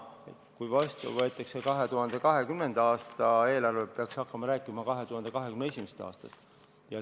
Siis, kui vastu võetakse 2020. aasta eelarve, peaks hakkama rääkima 2021. aastast.